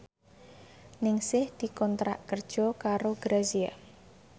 Ningsih dikontrak kerja karo Grazia